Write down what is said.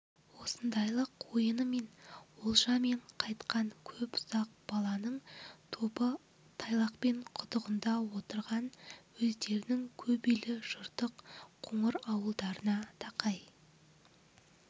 осындайлық ойынымен олжамен қайтқан көп үсақ баланың тобы тайлақпай құдығында отырған өздерінің көп үйлі жыртық қоңыр ауылдарына тақай